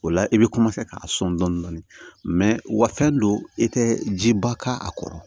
O la i bɛ ka sɔn dɔɔni dɔɔni u ka fɛn don i tɛ jiba k'a kɔrɔ